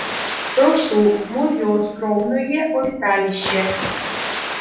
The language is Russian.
прошу в моё скромное обиталище